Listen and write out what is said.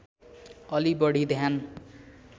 अलि बढी ध्यान